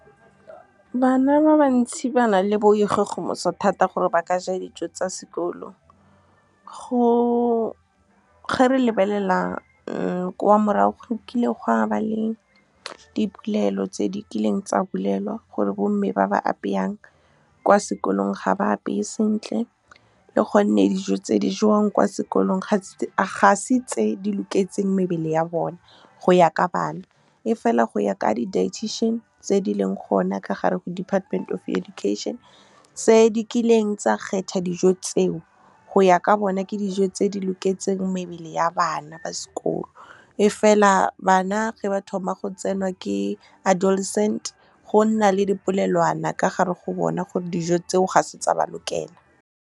Bana ba bantsi ba na le boikgogomoso thata gore ba ka ja dijo tsa sekolo. Ga re lebelela kwa morago, go kile go a ba le dipolelo tse di kileng tsa bolelwa gore bomme ba ba apeyang kwa sekolong ga ba apeye sentle, le gonne dijo tse di jewang kwa sekolong ga se tse di loketseng mebele ya bone go ya ka bana. Efela go ya ka di-dietician tse di leng gona ka gare go Department of Education tse di kileng tsa kgetha dijo tseo, go ya ka bona ke dijo tse di loketseng mebele ya bana ba sekolo. E fela bana ge ba thoma go tsenwa ke adolescent go nna le di polelwana ka gare go bona gore dijo tseo ga se tsa ba lokela. Bana ba bantsi ba na le boikgogomoso thata gore ba ka ja dijo tsa sekolo. Ga re lebelela kwa morago, go kile go a ba le dipolelo tse di kileng tsa bolelwa gore bomme ba ba apeyang kwa sekolong ga ba apeye sentle, le gonne dijo tse di jewang kwa sekolong ga se tse di loketseng mebele ya bone go ya ka bana. Efela go ya ka di-dietician tse di leng gona ka gare go Department of Education tse di kileng tsa kgetha dijo tseo, go ya ka bona ke dijo tse di loketseng mebele ya bana ba sekolo. E fela bana ge ba thoma go tsenwa ke adolescent go nna le di polelwana ka gare go bona gore dijo tseo ga se tsa ba lokela.